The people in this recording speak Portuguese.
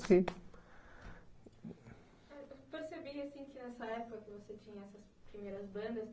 sim. Eu percebi, assim, que nessa época que você tinha essas primeiras bandas,